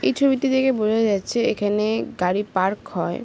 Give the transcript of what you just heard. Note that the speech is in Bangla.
এই ছবিটি দেখে বোঝা যাচ্ছে এখানে-এ গাড়ি পার্ক হয়।